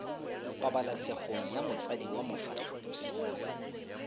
pabalesegong ya motsadi wa mofatlhosi